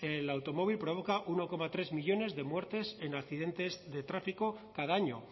el automóvil provoca uno coma tres millónes de muertes en accidentes de tráfico cada año